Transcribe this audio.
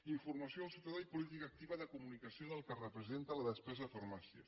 informació al ciutadà i política activa de comunicació del que representa la despesa de farmàcia